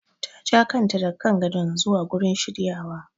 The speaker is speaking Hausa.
Ta ja kanta daga kan gadon zuwa gurin shiryawa.